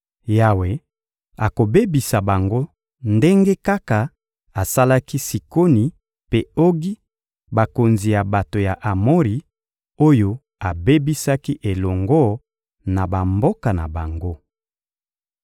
Yawe akobebisa bango ndenge kaka asalaki Sikoni mpe Ogi, bakonzi ya bato ya Amori, oyo abebisaki elongo na bamboka na bango.